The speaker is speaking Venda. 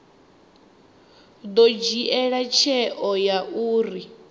ḓo dzhia tsheo ya uri